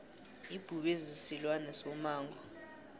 ibhubezi silwane somango